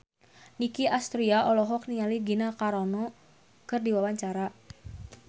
Nicky Astria olohok ningali Gina Carano keur diwawancara